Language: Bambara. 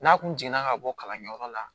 N'a kun jiginna ka bɔ kalanyɔrɔ la